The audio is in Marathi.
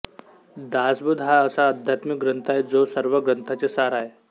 दासबोध हा असा अध्यात्मिक ग्रंथ आहे जो सर्व ग्रन्थाचे सार आहे